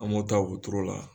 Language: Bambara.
An b'o ta otoro la